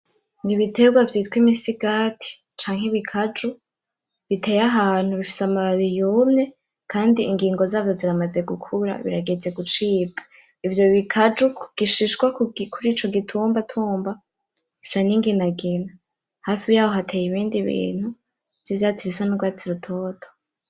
Ni ibiterwa vyitwa Imisigati canke Ibikaju biteye ahantu bifise amababi yumye kandi ingingo zavyo ziramaze gukura birageze gucibwa. Ivyo bikaju ku gishishwa, kurico gitumbatumba bisa n'inginagina. Hafi yaho hateye ibindi bintu vy'ivyatsi bisa n'urwatsi rutoto.